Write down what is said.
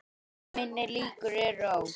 Minni líkur eru á